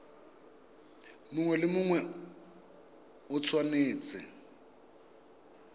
mongwe le mongwe o tshwanetse